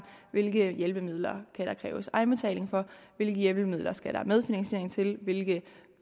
hvilke hjælpemidler der kan kræves egenbetaling for hvilke hjælpemidler der skal medfinansiering til hvilke